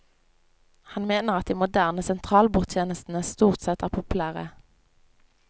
Han mener at de moderne sentralbordtjenestene stort sett er populære.